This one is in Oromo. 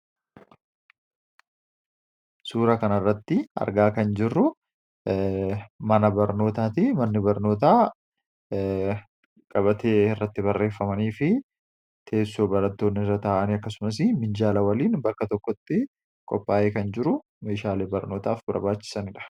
suura kan irratti argaa kan jirru mana barnootaati manni barnootaa gabatee irratti barreeffamanii fi teessoo baratoonni irra ta'ani akkasumas minjaala waliin bakka tokkotti qophaa'ee kan jiru meeshaale barnootaaf barbaachisaniidha.